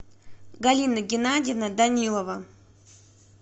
галина геннадиевна данилова